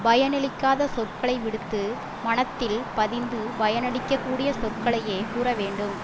பயனளிக்காத சொற்களை விடுத்து மனத்தில் பதிந்து பயனளிக்கக் கூடிய சொற்களையே கூற வேண்டும்